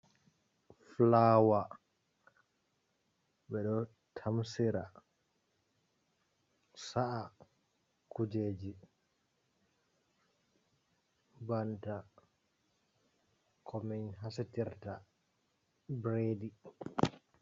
Fulawa.Be do tamsira sa’a kujeji. banta ko min hasitirta biredi.